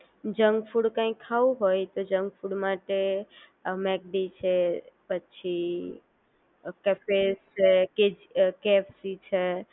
junk food કંઈ ખાવું હોય તો જંક ફૂડ માટે મેકડી છે પછી કેફેસ છે કેજ અ કેએફસી છે